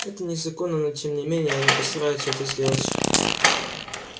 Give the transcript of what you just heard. это незаконно но тем не менее они постараются это сделать